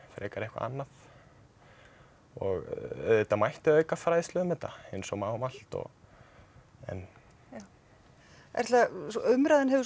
frekar eitthvað annað og auðvitað mætti auka fræðslu um þetta eins og má um allt og en já Erla umræðan hefur